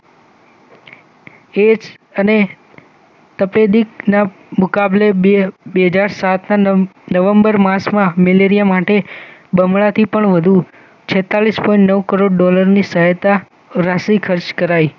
ads અને તપેડિકના મુકાબલે બે બેહજાર સાતના નવેમ્બર માસમાં મેલેરિયા માટે બમણાથી પણ વધુ છેતતાલીસ પોઈન્ટ નવ કરોડ ડોલરની સહાયતા રાશિ ખર્ચ કરાઈ